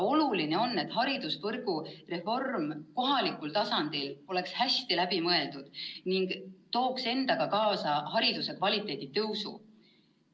Oluline on, et haridusvõrgu reform kohalikul tasandil oleks hästi läbi mõeldud ning tooks endaga kaasa hariduse kvaliteedi paranemise.